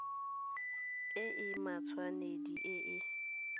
e e matshwanedi e e